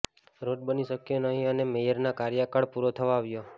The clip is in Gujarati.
રોડ બની શક્યો નહીં અને મેયરનો કાર્યકાળ પુરો થવા આવ્યો